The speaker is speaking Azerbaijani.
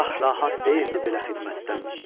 Şah rahat deyildi belə xidmətdən.